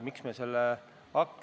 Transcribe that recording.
Aitäh!